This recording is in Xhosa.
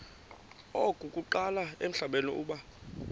okokuqala emhlabeni uba